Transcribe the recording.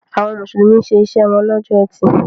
Àwọn Mùsùlùmí ṣe iṣẹ́ wọn lọ́jọ́ Ẹtì.